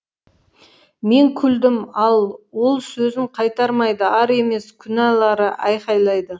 мен күлдім ал ол сөзін қайтармайды ар емес күнәлары айқайлайды